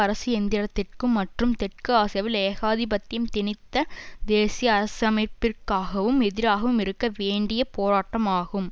அரசு எந்திரத்திற்கும் மற்றும் தெற்கு ஆசியாவில் ஏகாதிபத்தியம் திணித்த தேசிய அரசமைப்பிற்கும் எதிராகவும் இருக்க வேண்டிய போராட்டம் ஆகும்